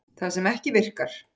Það sem ekki virkar